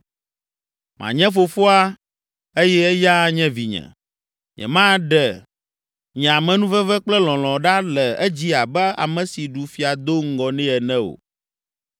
Manye fofoa eye eya anye vinye. Nyemaɖe nye amenuveve kple lɔ̃lɔ ɖa le edzi abe ame si ɖu fia do ŋgɔ nɛ ene o.